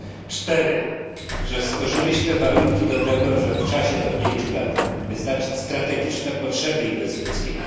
Po czwarte, że stworzyliśmy warunki do tego, żeby w czasie do pięciu lat wyznaczyć strategiczne potrzeby inwestycyjne.